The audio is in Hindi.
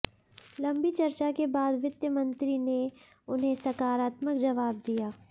लंबी चर्चा के बाद वित्त मंत्री ने उन्हें सकारात्मक जवाब दिया